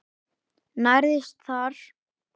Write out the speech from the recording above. Nærðist þar.